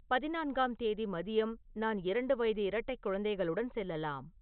பதினான்காம் தேதி மதியம் நான் இரண்டு வயது இரட்டைக் குழந்தைகளுடன் செல்லலாம்